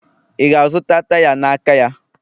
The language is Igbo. Ị ga-azụta taya n'aka ya?